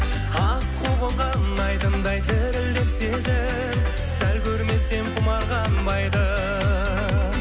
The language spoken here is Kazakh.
аққу қонған айдындай дірілдеп сезім сәл көрмесем құмар қанбайды